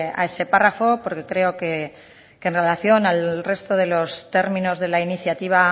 a ese párrafo porque creo que en relación al resto de los términos de la iniciativa